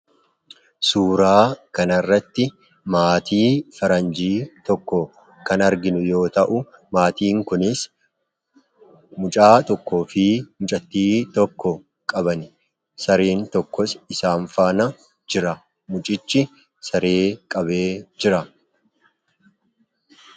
Suuraa kana irratti maatii faranjii tokko kan arginu yoo ta'u, maatiin kunis mucaa tokkoo fi mucattii tokko qabani. Sareen tokkos isaan faana jira. Mucichis saree qabee jira.